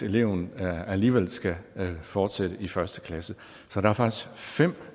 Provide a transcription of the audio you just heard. eleven alligevel skal fortsætte i første klasse så der er faktisk fem